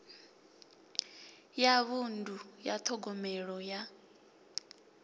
ya vhunḓu ya ṱhogomelo ya